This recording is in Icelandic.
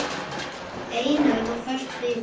Einörð og föst fyrir.